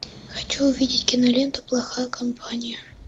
хочу увидеть киноленту плохая компания